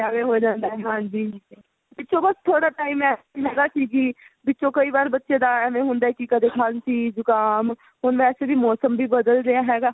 ਐਵੇਂ ਹੋ ਜਾਂਦਾ ਹੈਂ ਹਾਂਜੀ ਪਿੱਛੇ ਬੱਸ ਥੋੜਾ ਜਾ time ਐਸਾ ਹੈਗਾ ਸੀ ਕਿ ਵਿੱਚੋਂ ਕਈ ਵਰ ਬੱਚੇ ਦਾ ਏਵੇਂ ਹੁੰਦਾ ਕਿ ਕਦੇ ਖਾਂਸੀ ਜੁਕਾਮ ਹੁਣ ਵੈਸੇ ਵੀ ਮੋਸਮ ਵੀ ਬਦਲ ਰਿਹਾ ਹੈਗਾ